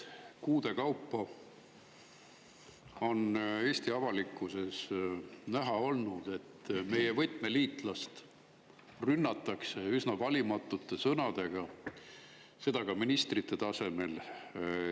Kuude kaupa on Eesti avalikkuses näha olnud, et meie võtmeliitlast rünnatakse üsna valimatute sõnadega, seda ka ministrite tasemel.